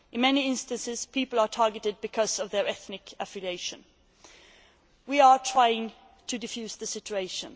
In many instances, people are targeted because of their ethnic affiliation. We are trying to defuse the situation.